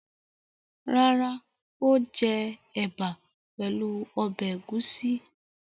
Rárá, ó jẹ ẹ̀bà pẹ̀lú ọbẹ̀ ẹ̀gúsí.